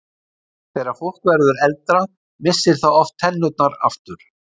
Þegar fólk verður eldra missir það oft tennurnar aftur.